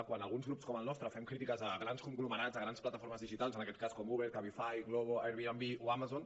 quan alguns grups com el nostre fem crítiques a grans conglomerats a grans plataformes digitals en aquest cas com uber cabify glovo airbnb o amazon